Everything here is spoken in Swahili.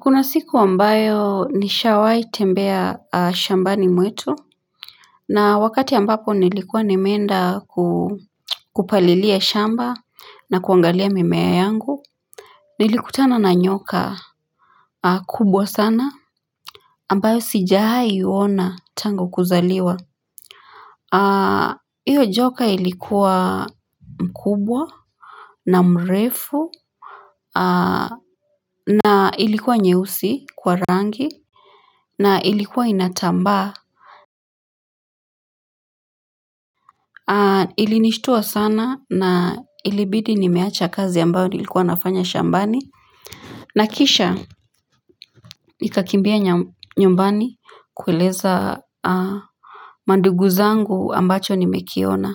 Kuna siku ambayo nishawahi tembea shambani mwetu na wakati ambapo nilikuwa nimeenda kupalilia shamba na kuangalia mimea yangu Nilikutana na nyoka kubwa sana ambayo sijaha iona tangu kuzaliwa Iyo joka ilikuwa mkubwa na mrefu na ilikuwa nyeusi kwa rangi na ilikuwa inatambaa ilinishtua sana na ilibidi nimeacha kazi ambayo nilikuwa nafanya shambani na kisha nikakimbia nyumbani kuileza manduguzangu ambacho nimekiona